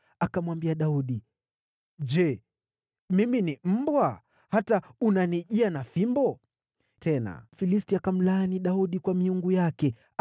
Akamwambia Daudi, “Je, mimi ni mbwa, hata unanijia na fimbo?” Yule Mfilisti akamlaani Daudi kwa miungu yake.